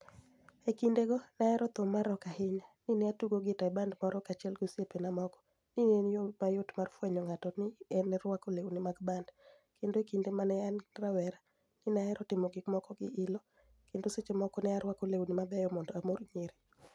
E kinidego, ni e ahero thum mar rock ahiniya, ni e atugo gita e banid moro kaachiel gi osiepenia moko, ni e eni yo mayot mar fweniyo nig'ato, ni e arwako lewnii mag banid, kenido e kinide ma ni e ani rawera, ni e ahero timo gik moko gi ilo, kenido seche moko ni e arwako lewnii mabeyo monido amori niyiri.